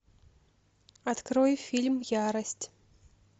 открой фильм ярость